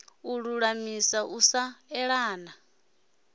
u lulamisa u sa eana